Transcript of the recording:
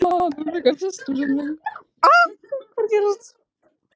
Lillý Valgerður Pétursdóttir: Hvernig spurningar hafa þau verið að koma með?